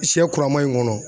Sɛ kura ma in kɔnɔ.